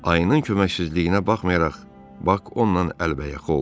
Ayının köməksizliyinə baxmayaraq, Bak onunla əlbəyaxa oldu.